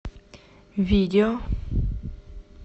видео